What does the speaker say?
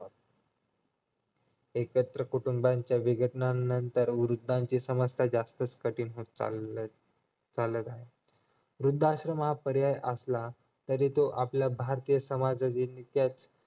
एकत्र कुटुंबाच्या विघटनांनंतर वृद्धीची समस्या जास्तच कठीण होत चाललंय वृद्धाश्रम हा पर्याय असला तरी तो आपल्या भारतीय समाजाच्या कच